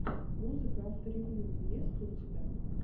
музыка авторевьюру есть ли у тебя